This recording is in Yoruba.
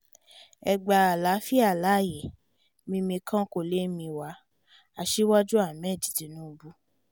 ẹ gba àlàáfíà láàyè mìmì kan kó lè mìwà aṣíwájú ahmed tinubu